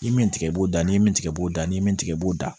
I min tigɛ b'o da ni min tigɛ b'o da ni min tigɛ b'o da